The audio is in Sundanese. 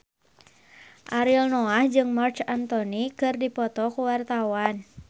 Ariel Noah jeung Marc Anthony keur dipoto ku wartawan